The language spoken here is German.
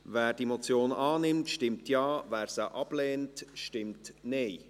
Wer diese Motion annimmt, stimmt Ja, wer sie ablehnt, stimmt Nein.